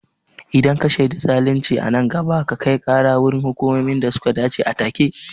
Idan ka shaidi zalunci a nan gaba, ka kai kara wurin hukumomi da suka dace a take.